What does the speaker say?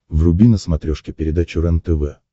вруби на смотрешке передачу рентв